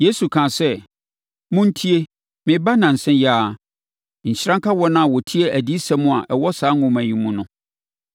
Yesu kaa sɛ, “Montie! Mereba nnansa yi ara, Nhyira nka wɔn a wɔtie adiyisɛm a ɛwɔ saa nwoma yi mu no!”